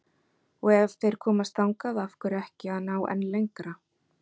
Og ef þeir komast þangað, af hverju ekki að ná enn lengra?